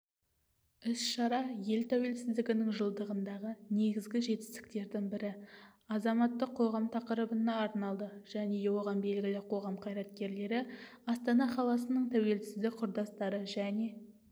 іс-шара ел тәуелсіздігінің жылдығындағы негізгі жетістіктердің бірі азаматтық қоғам тақырыбына арналды және оған белгілі қоғам қайраткерлері астана қаласының тәуелсіздік құрдастары және